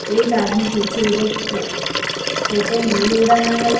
एक आदमी पीछे उधर फोटो ले रहा है।